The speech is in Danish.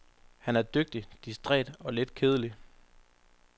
Han er dygtig, distræt og lidt kedelig.